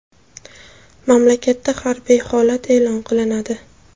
Mamlakatda harbiy holat e’lon qilinadi.